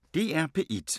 DR P1